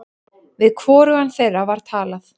Við hvorugan þeirra var talað.